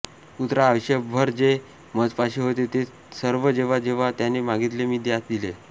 पुत्रा आयुष्यभर जे मजपाशी होते ते ते सर्व जेव्हा जेव्हा ज्याने मागितले मी त्यास दिले